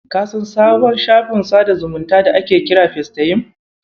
Ka san sabon shafin sadar da zumunci da ake kira Festayim?